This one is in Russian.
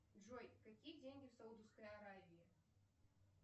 джой какие деньги в саудовской аравии